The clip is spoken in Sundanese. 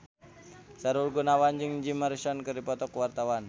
Sahrul Gunawan jeung Jim Morrison keur dipoto ku wartawan